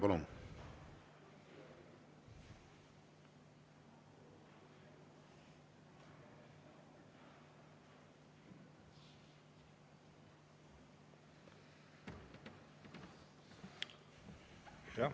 Palun!